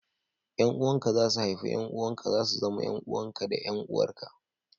Yan uwanka za su haifu 'ƴan uwanka, za su zama 'yan uwanka da 'yan uwarka